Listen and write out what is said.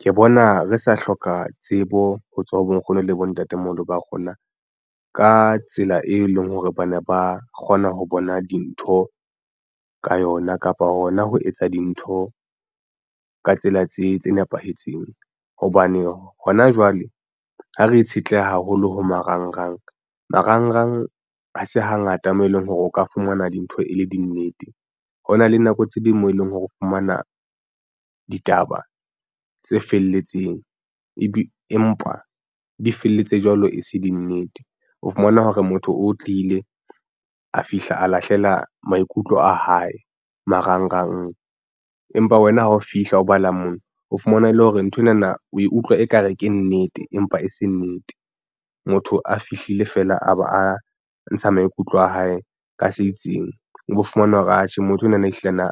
Ke bona re sa hloka tsebo ho tswa ho bonkgono le bontatemoholo ba rona ka tsela e leng hore ba ne ba kgona ho bona dintho ka yona kapa hona ho etsa dintho ka tsela tse nepahetseng hobane hona jwale ha re itshetleha haholo ho marangrang, marangrang ha se hangata mo e leng hore o ka fumana dintho e le dinnete ho na le nako tse ding moo e leng hore o fumana ditaba tse felletseng ebe empa di felletse jwalo e se dinnete. O fumana hore motho o tlile a fihla a lahlela maikutlo a hae marang rang empa wena ha o fihla o bala mona o fumana e le hore nthwenana o e utlwa ekare ke nnete, empa e se nnete motho a fihlile fela a ba a ntsha maikutlo a hae ka se itseng o bo fumana hore atjhe motho onana ehlile na